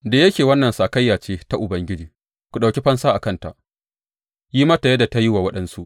Da yake wannan sakayya ce ta Ubangiji, ku ɗauki fansa a kanta; yi mata yadda ta yi wa waɗansu.